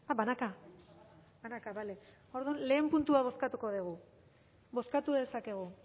banaka banaka bale bada orduan lehenengo puntua bozkatuko dugu bozkatu dezakegu